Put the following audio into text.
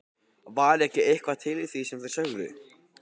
Var ekki eitthvað til í því sem þeir sögðu?